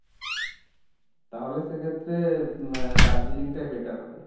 তাহলে সেক্ষেত্রে এর দার্জিলিংটাই better হবে।